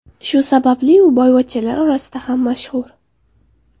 Shu sababli u boyvachchalar orasida ham mashhur.